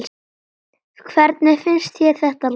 Hvernig finnst þér þetta lag?